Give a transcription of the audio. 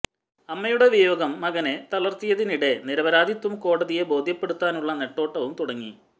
അമ്മയുടെ വിയോഗം മകനെ തളര്ത്തിയതിനിടെ നിരപരാധിത്വം കോടതിയെ ബോധ്യപ്പെടുത്താനുള്ള നെട്ടോട്ടവും തുടങ്ങി